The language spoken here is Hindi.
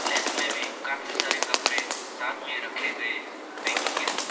लेफ्ट में भी काफी सारे कपड़े साथ में रखें गए हैं पैकिंग के साथ।